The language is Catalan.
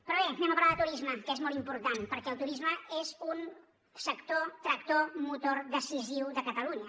però bé parlem de turisme que és molt important perquè el turisme és un sector tractor motor decisiu de catalunya